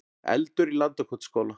Eldur í Landakotsskóla